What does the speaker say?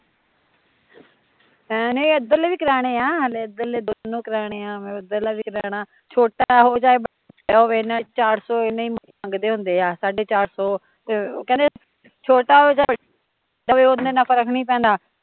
ਨਹੀਂ, ਇਦਰਲੇ ਵੀ ਕਰਾਉਣੇ ਆ, ਹਲੇ ਇਦਰਲੇ ਵੀ ਦੋਨੋਂ ਕਰਾਉਣੇ ਛੋਟਾ ਹੋਏ ਚਾਹੇ ਵੱਡਾ ਹੋਵੇ ਏਨਾਂ ਚਾਰ ਸੋ ਸਾਢੇ ਚਾਰ ਸੋ ਐਨਾ ਹੀਂ ਮੰਗਦੇ ਹੁੰਦੇ ਆ ਕਹਦੇ ਛੋਟਾ ਹੋਏ ਚਾਹੇ ਵੱਡਾ ਹੋਵੇ ਉਹਦੇ ਨਾਲ਼ ਫਰਕ ਨੀ ਪੈਣਾ